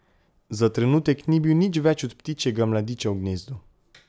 Za trenutek ni bil nič več od ptičjega mladiča v gnezdu.